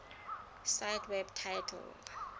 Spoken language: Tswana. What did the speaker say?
cite web title